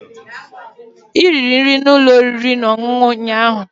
Ị riri nri na ụlọ oriri na ọṅụṅụ ụnyaahụ